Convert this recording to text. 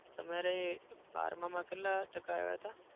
તમારે બારમાં માં કેટલા ટકા આવ્યા હતા?